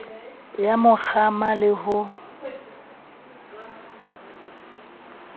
ya mo kgama le ho